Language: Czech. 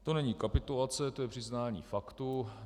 To není kapitulace, to je přiznání faktu.